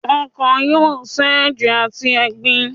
Ọ́kan yóò sẹ́ eje atí ẹgbín